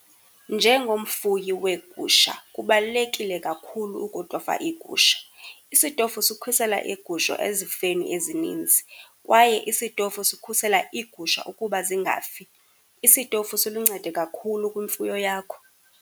Njengomfuyi weegusha, kubalulekile kakhulu ukutofa iigusha. Isitofu sikhusela iigusha ezifeni ezinintsi, kwaye isitofu sikhusela iigusha ukuba zingafi. Isitofu siluncedo kakhulu kwimfuyo yakho.